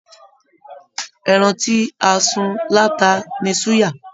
Ẹran ti a sùn lata ní suya.